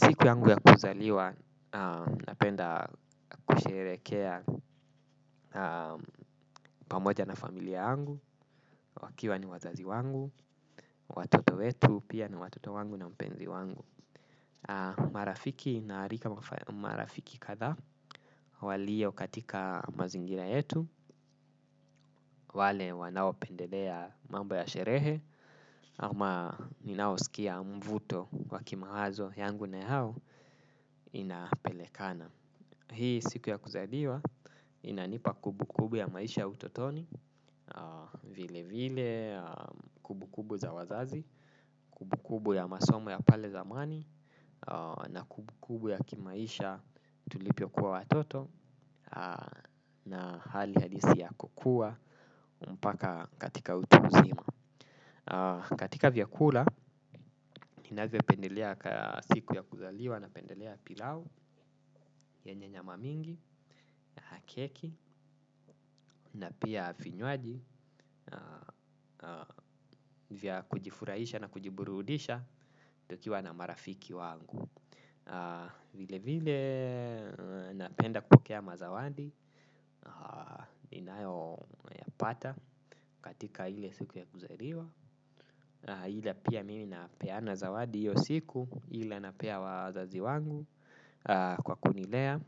Siku yangu ya kuzaliwa, napenda kusherehekea pamoja na familia yangu, wakiwa ni wazazi wangu, watoto wetu, pia ni watoto wangu na mpenzi wangu. Marafiki. Naalika marafiki kadhaa, walio katika mazingira yetu, wale wanaopendelea mambo ya sherehe, ama ninaosikia mvuto wakimawazo yangu na yao inapelekana. Hii siku ya kuzaliwa inanipa kumbu kumbu ya maisha utotoni, vile vile, kumbu kumbu za wazazi, kumbu kumbu ya masomo ya pale zamani, na kumbu kumbu ya kimaisha tulivyokuwa watoto na hali halisi ya kukua mpaka katika utu uzima. Katika vyakula, ninavyopendelea siku ya kuzaliwa napendelea pilau, yenye nyama mingi, keki, na pia vinywaji vya kujifurahisha na kujiburudisha tukiwa na marafiki wangu. Vile vile napenda kupokea mazawadi ninayoyapata katika ile siku ya kuzaliwa ila pia mimi napeana zawadi hio siku ila napea wazazi wangu kwa kunilea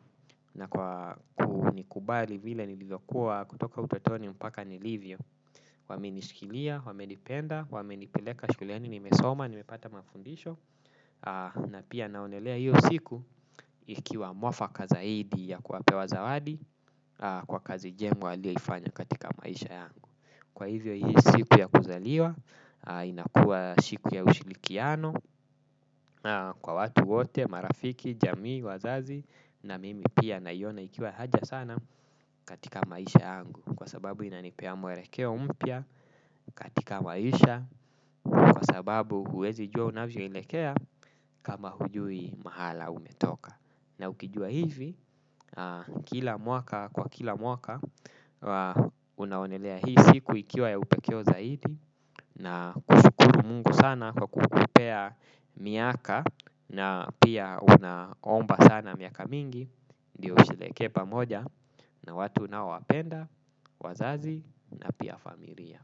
na kwa kunikubali vile nilivyokua kutoka utotoni mpaka nilivyo. Wamenishikilia, wamenipenda, waminipileka shuleni nimesoma, nimepata mafundisho. Na pia naonelea hio siku ikiwa mwafa kazaidi ya kuwapea zawadi. Kwa kazi njema walioifanya katika maisha yangu. Kwa hivo hio siku ya kuzaliwa. Inakua siku ya ushirikiano kwa watu wote, marafiki, jamii, wazazi. Na mimi pia naiona ikiwa haja sana katika maisha yangu kwa sababu inanipea mwelekeo mpya katika maisha kwa sababu huwezi jua unavyoelekea kama hujui mahala umetoka. Na ukijua hivi, kila mwaka kwa kila mwaka. Unaonelea hii siku ikiwa ya upekee zaidi. Na kushukuru Mungu sana kwa kukupea miaka na pia unaomba sana miaka mingi ndio usherehekee pamoja na watu unaowapenda. Wazazi na pia familia.